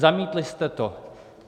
Zamítli jste to.